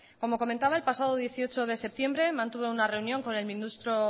como comentaba el pasado dieciocho de diciembre mantuve una reunión con el ministro